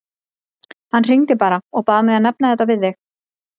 Hann hringdi bara og bað mig að nefna þetta við þig.